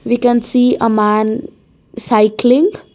We can see a man cycling.